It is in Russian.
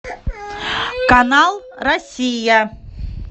канал россия